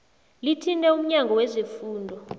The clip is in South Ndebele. lithinte umnyango wezefundo